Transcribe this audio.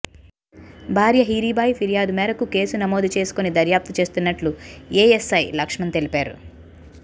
భార్య హీరిబాయి ఫిర్యాదు మేరకు కేసు నమోదు చేసుకుని దర్యాప్తు చేస్తున్నట్లు ఏఎస్సై లక్ష్మణ్ తెలిపారు